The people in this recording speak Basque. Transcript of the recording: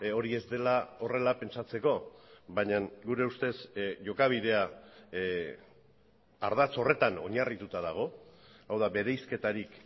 hori ez dela horrela pentsatzeko baina gure ustez jokabidea ardatz horretan oinarrituta dago hau da bereizketarik